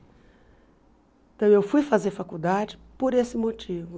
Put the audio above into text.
Então eu fui fazer faculdade por esse motivo.